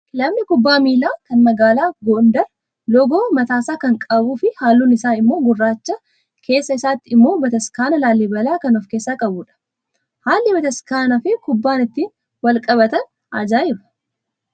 Kilabni kubbaa miilaa kan magaalaa Gondar loogoo mataasaa kan qabuu fi halluun isaa immoo gurraacha, keessa isaatti immoo bataskaana laallibalaa kan of keessaa qabudha. Haalli Bataskaanni fi kubbaan ittiin wal qabatan ajaa'ibaa